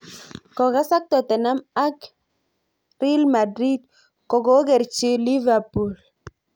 Kokasak Tottenham ak R Madrid, kokokerchi Liverpool